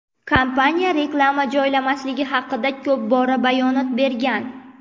Kompaniya reklama joylamasligi haqida ko‘p bora bayonot bergan.